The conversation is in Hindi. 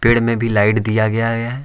पेड़ में भी लाइट दिया गया है।